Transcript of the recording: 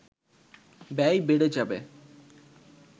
ব্যয় বেড়ে যাবে